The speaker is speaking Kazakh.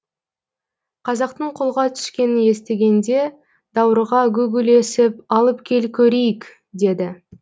қазақтың қолға түскенін естігенде даурыға гу гулесіп алып кел көрейік деді